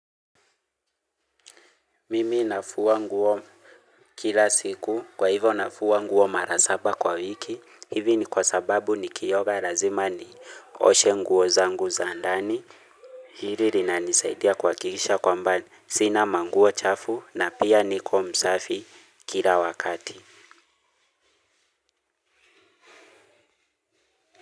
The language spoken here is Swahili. Mimi nafua nguo kila siku, kwa hivo nafua nguo mara saba kwa wiki. Hivi ni kwa sababu nikioga lazima nioshe nguo zangu za ndani. Hili linanisaidia kuhakikisha kwamba sina manguo chafu na pia niko msafi kila wakati.